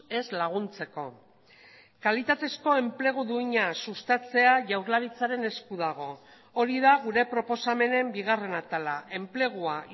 ez laguntzeko kalitatezko enplegu duina sustatzea jaurlaritzaren esku dago hori da gure proposamenen bigarren atala enplegua